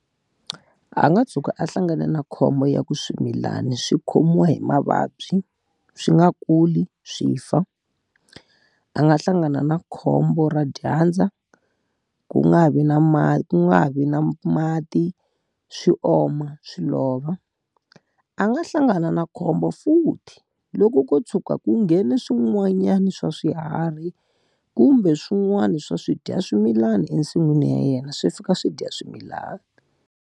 A nga tshuka a hlangane na khombo ya ku swimilana swi khomiwa hi mavabyi, swi nga kuli, swi fa. A nga hlangana na khombo ra dyandza, ku nga ha vi na ku nga ha vi na mati, swi oma, swi lova. A nga hlangana na khombo futhi loko ko tshuka ku nghene swin'wanyana swa swiharhi, kumbe swin'wana swa swidyaswimilana ensin'wini ya yena swi fika swi dya swimilana.